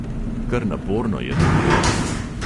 Kar naporno je to delo.